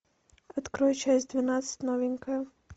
открой часть двенадцать новенькая